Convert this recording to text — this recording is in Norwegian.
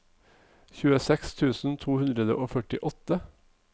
tjueseks tusen to hundre og førtiåtte